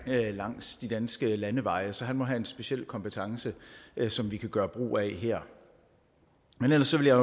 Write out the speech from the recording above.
langs de danske landeveje rundtomkring så han må have en speciel kompetence som vi kan gøre brug af her men ellers vil jeg